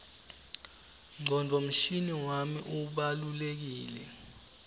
ngcondvomshina wami ubalulekile